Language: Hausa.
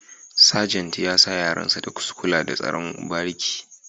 Sajant ya sa yaran sa su kula da tsaron bariki